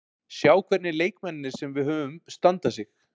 Sjá hvernig leikmennirnir sem við höfum standa sig.